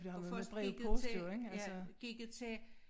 Og først gik det til ja gik det til